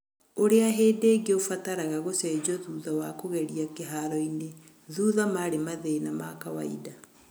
ũrĩa hĩndĩ ĩngĩ ũbataraga gũcenjio thutha wa kũgeria kĩharoinĩ, thutha marĩ mathĩna ma kawainda.